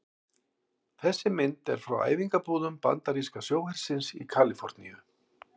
Þessi mynd er frá æfingabúðum bandaríska sjóhersins í Kaliforníu.